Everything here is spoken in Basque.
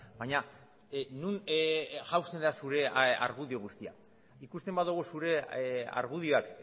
baina non jauzten da zure argudio guztia ikusten badugu zure argudioak